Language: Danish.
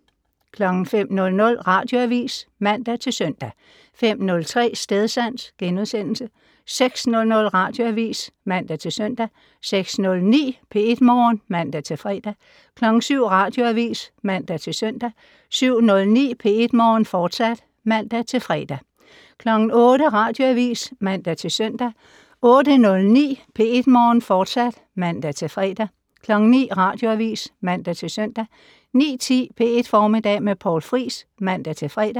05:00: Radioavis (man-søn) 05:03: Stedsans * 06:00: Radioavis (man-søn) 06:09: P1 Morgen (man-fre) 07:00: Radioavis (man-søn) 07:09: P1 Morgen, fortsat (man-fre) 08:00: Radioavis (man-søn) 08:09: P1 Morgen, fortsat (man-fre) 09:00: Radioavis (man-søn) 09:10: P1 Formiddag med Poul Friis (man-fre)